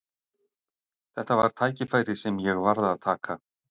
Þetta var tækifæri sem ég varð að taka.